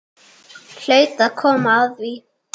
Hlaut að koma að því.